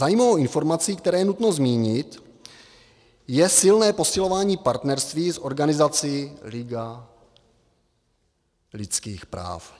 Zajímavou informací, kterou je nutné zmínit, je silné posilování partnerství s organizací Liga lidských práv.